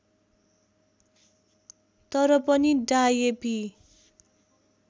तर पनि डायेपी